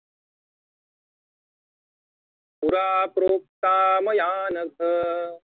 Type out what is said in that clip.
पुरा प्रोक्ता मयानघ